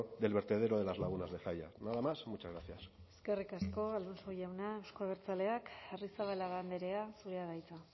del vertedero de las lagunas de zalla nada más muchas gracias eskerrik asko alonso jauna euzko abertzaleak arrizabalaga andrea zurea da hitza